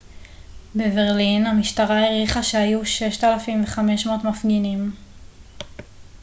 בברלין המשטרה העריכה שהיו 6,500 מפגינים